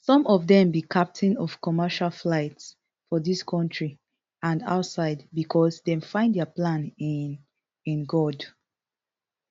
some of dem be captain of commercial flights for dis kontri and outside becos dem find dia plan in in god